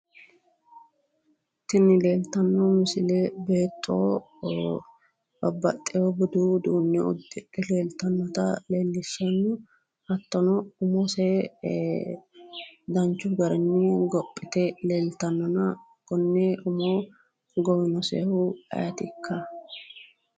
Tini leeltanno misile beetto babbaxxiwo budu uduunne uddidhe leellishshanno. Hattono umose danchu garinni gophite leeltannona konne umo gowinosehu ayetikka?